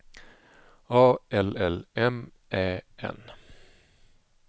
A L L M Ä N